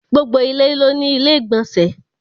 Gbogbo ilẹ̀ ló ní ilẹ̀-ìgbọ̀nsẹ̀.